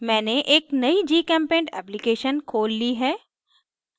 मैंने एक नयी gchempaint application खोल ली है